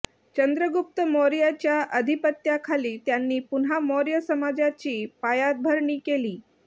चंद्रगुप्त मौर्याच्या अधिपत्याखाली त्यांनी पुन्हा मौर्य साम्राज्याची पायाभरणी केली